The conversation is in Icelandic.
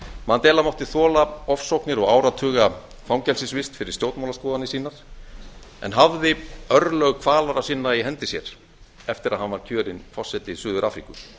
mandela mátti þola ofsóknir og áratuga fangelsisvist fyrir stjórnmálaskoðanir sínar en hafði örlög kvalara sinna í hendi sér eftir að hann var kjörinn forseti suður afríku